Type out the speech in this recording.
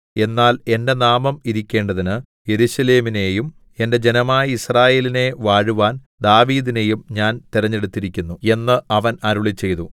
എന്നാൽ എന്റെ നാമം ഇരിക്കേണ്ടതിന് യെരൂശലേമിനെയും എന്റെ ജനമായ യിസ്രായേലിനെ വാഴുവാൻ ദാവീദിനെയും ഞാൻ തെരഞ്ഞെടുത്തിരിക്കുന്നു എന്ന് അവൻ അരുളിച്ചെയ്തു